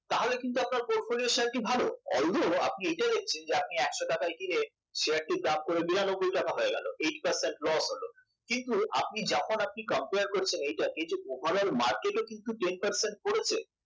তাহলে কিন্তু আপনার portfolio শেয়ারটি ভালো although আপনি এটা দেখছেন যে একশ টাকায় কিনে শেয়ারটির দাম পড়ে বিরানব্বই টাকা হয়ে গেল eight percent loss হল কিন্তু আপনি যখন আপনি compare করছেন এই যে এইটা over all market এ কিন্তু ten percent পড়েছে